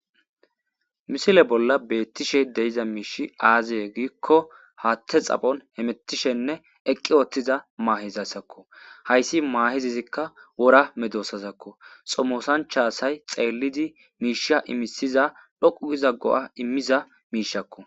Misile bolla beettishe deyiza miishi aaziye giikko haatte xaphon hemettishenne eqqi ooththiza maahezaysakko hayssi maahezizikka wora medoosazakko xomosanchasay xeellidi miisha imisiza lhoqu gizaggo'a immiza miishakko